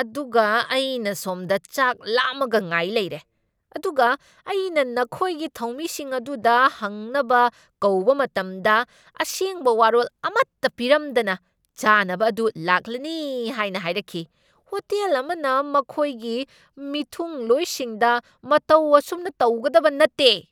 ꯑꯗꯨꯒ ꯑꯩꯅ ꯁꯣꯝꯗ ꯆꯥꯛ ꯂꯥꯝꯃꯒ ꯉꯥꯏ ꯂꯩꯔꯦ ꯫ ꯑꯗꯨꯒ ꯑꯩꯅ ꯅꯈꯣꯏꯒꯤ ꯊꯧꯃꯤꯁꯤꯡ ꯑꯗꯨꯗ ꯍꯪꯅꯕ ꯀꯧꯕ ꯃꯇꯝꯗ, ꯑꯁꯦꯡꯕ ꯋꯥꯔꯣꯜ ꯑꯃꯠꯇ ꯄꯤꯔꯝꯗꯅ ꯆꯥꯅꯕ ꯑꯗꯨ ꯂꯥꯛꯂꯅꯤ ꯍꯥꯏꯅ ꯍꯥꯏꯔꯛꯈꯤ ꯫ ꯍꯣꯇꯦꯜ ꯑꯃꯅ ꯃꯈꯣꯏꯒꯤ ꯃꯤꯊꯨꯡꯂꯣꯏꯁꯤꯡꯗ ꯃꯇꯧ ꯑꯁꯨꯝꯅ ꯇꯧꯒꯗꯕ ꯅꯠꯇꯦ ꯫